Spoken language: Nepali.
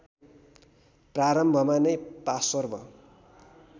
प्रारम्भमा नै पार्श्व